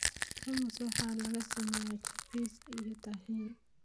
Hummus waxaa laga sameeyaa chickpeas iyo tahini.